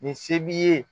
Nin se b'i ye